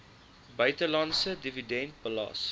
buitelandse dividend belas